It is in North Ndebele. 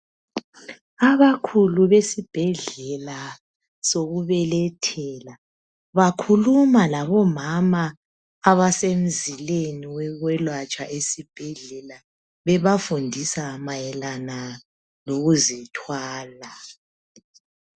Abakhulu besibhedlela sokubelethela bakhuluma labomama abasemzileni wekwelatshwa esibhedlela bebafundisa mayelana lokuzithwala